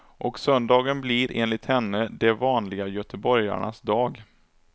Och söndagen blir, enligt henne, de vanliga göteborgarnas dag.